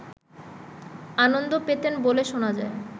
আনন্দ পেতেন বলে শোনা যায়